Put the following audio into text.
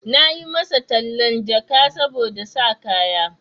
Na yi masa tallan jaka saboda sa kaya.